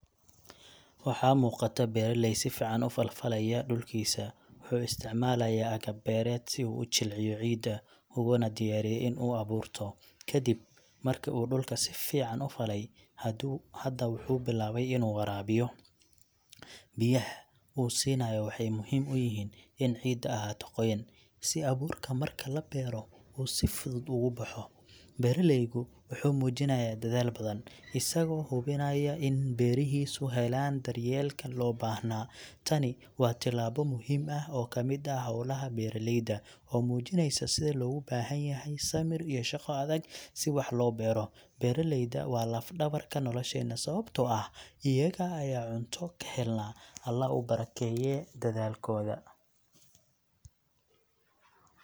Waxaa muuqata beeraley si fiican u falfalaya dhulkiisa. Wuxuu isticmaalaya agab beereed si uu u jilciyo ciidda, uguna diyaariyo in uu abuurto. Kadib markii uu dhulka si fiican u falay, hadda wuxuu bilaabay inuu waraabiyo. Biyaha uu siinayo waxay muhiim u yihiin in ciidda ahaato qoyan, si abuurka marka la beero uu si fudud ugu baxo. Beeraleygu wuxuu muujinayaa dadaal badan, isagoo hubinaya in beerihiisu helaan daryeelka loo baahnaa. Tani waa tallaabo muhiim ah oo ka mid ah hawlaha beeraleyda, oo muujinaysa sida loogu baahan yahay samir iyo shaqo adag si wax loo beero. Beeraleyda waa laf-dhabarka nolosheena, sababtoo ah iyaga ayaa cunto ka helnaa. Alle ha u barakeeyo dadaalkooda.